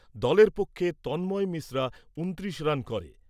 দলের পক্ষে তন্ময় মিশ্রা ঊনত্রিশ রান করে।